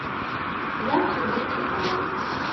яркие дети адрес